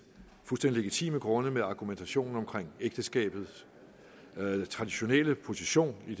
fuldstændig legitime grunde med argumentationen om ægteskabets traditionelle position